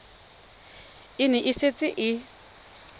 e ne e setse e